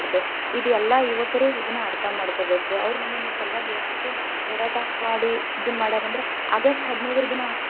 ಇದ್ ಎಲ್ಲಾ ಯುವಕರು ಇದನ್ನ ಅಥ೯ ಮಾಡ್ಕೋಬೇಕ್, ಅವ್ರ ನಮ್ಮನ್ನ ಸಲುವಾಗಿ ಎಷ್ಟ ಹೋರಾಟ ಮಾಡಿ ಇದನ್ನ ಮಾಡ್ಯಾರ್ ಅಂದ್ರ ಆಗಸ್ಟ್ ಹದಿನೈದರ ದಿನಾ ಅಷ್ಟ.